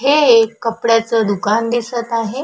हे एक कपड्याच दुकान दिसत आहे.